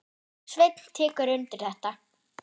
Sveinn tekur undir þetta.